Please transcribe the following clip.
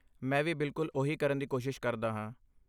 ਮੈਂ ਵੀ ਬਿਲਕੁਲ ਉਹੀ ਕਰਨ ਦੀ ਕੋਸ਼ਿਸ਼ ਕਰਦਾ ਹਾਂ।